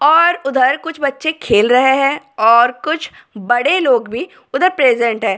और उधर कुछ बच्चे खेल रहे हैं और कुछ बड़े लोग भी उधर प्रेजेंट हैं और।